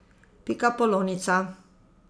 Pikapolonica.